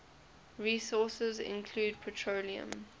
resources include petroleum